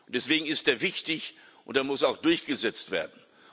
Deswegen ist er wichtig, und er muss auch durchgesetzt werden.